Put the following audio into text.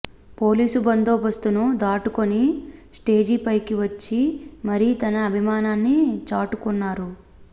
police బందోబస్తును దాటుకొని స్టేజీపైకి వచ్చి మరీ తన అభిమానాన్ని చాటుకొన్నారు